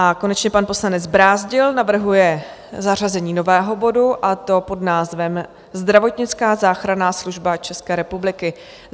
A konečně pan poslanec Brázdil navrhuje zařazení nového bodu, a to pod názvem Zdravotnická záchranná služba České republiky.